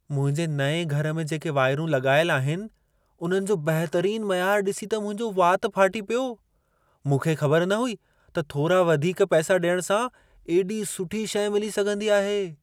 मुंहिंजे नएं घर में जेके वाइरूं लॻायल आहिनि, उन्हनि जो बहितरीन मयारु ॾिसी त मुंहिंजो वात फाटी पियो। मूंखे ख़बर न हुई त थोरा वधीक पैसा ॾियणु सां एॾी सुठी शइ मिली सघंदी आहे!